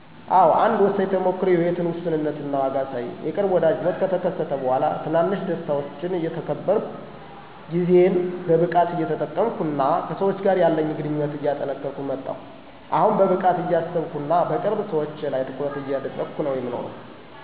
አዎ፣ አንድ ወሳኝ ተሞክሮ የህይወትን ውሱንነት እና ዋጋ አሳየኝ። የቅርብ ወዳጅ ሞት ከተከሰተ በኋላ፣ ትናንሽ ደስታዎችን እየተከበርኩ፣ ጊዜን በብቃት እየጠቀምኩ፣ እና ከሰዎች ጋር ያለኝ ግንኙነት እየጠነከርኩ መጣል። አሁን በብቃት እያሰብኩና በቅርብ ሰዎቼ ላይ ትኩረት እያደረግኩ ነው የምኖረው።